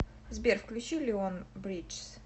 сбер включи леон бриджс